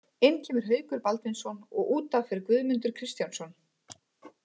Inn kemur Haukur Baldvinsson og útaf fer Guðmundur Kristjánsson.